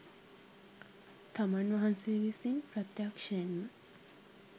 තමන් වහන්සේ විසින් ප්‍රත්‍යක්‍ෂයෙන් ම